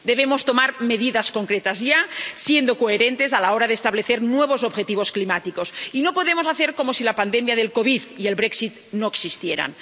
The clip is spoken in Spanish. Debemos tomar medidas concretas ya, siendo coherentes a la hora de establecer nuevos objetivos climáticos, y no podemos hacer como si la pandemia de la COVID 19 y el Brexit no existieran.